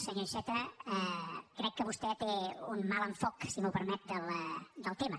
senyor iceta crec que vostè té un mal enfocament si m’ho permet del tema